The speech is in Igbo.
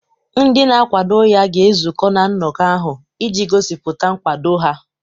Ndị na-akwado ya ga-ezukọ na nnọkọ ahụ iji gosipụta nkwado ha.